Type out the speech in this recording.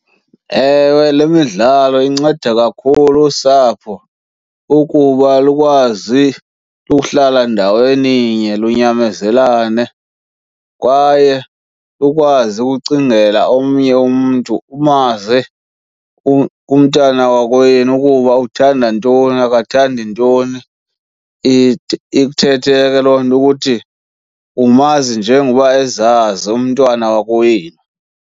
Ewe, le midlalo inceda kakhulu usapho ukuba lukwazi uhlala ndaweninye lunyamezelane kwaye ukwazi ukucingela omnye umntu, umazi umntana wakowenu ukuba uthanda ntoni akathandi ntoni. Ithethe ke loo nto ukuthi umazi njengoba ezazi umntwana wakowenu.